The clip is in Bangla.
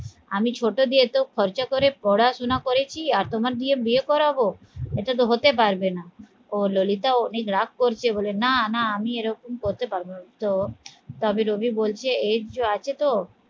আমি ছোট দিয়ে তো খরচা করে পড়াশোনা করেছি আর তোমার দিয়ে বিয়ে করাবো এটা তো হতে পারবে না ও ললিতা অনেক রাগ করছে বলে না না আমি এরকম করতে পারব না তো তবে রবি বলছে age ও আছে তো